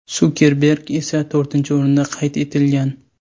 Sukerberg esa to‘rtinchi o‘rinda qayd etilgan.